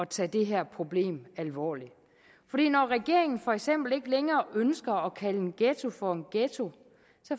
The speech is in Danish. tage det her problem alvorligt fordi når regeringen for eksempel ikke længere ønsker at kalde en ghetto for en ghetto